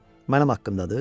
Mənim haqqımdadır?